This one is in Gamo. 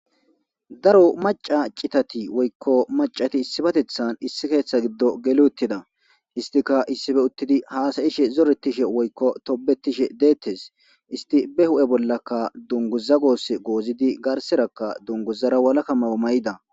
daro maca citati woykko macati issibatethan issi keeththa giddo geluuttida istika issife uttidi haasayishe zoretishe woykko tobetishe deettes isti be hu7e bollakka dungu zagos goozidi garserakka dunguzara walakamayo may7ida